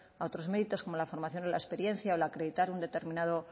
a otros méritos como la formación o la experiencia el acreditar un determinado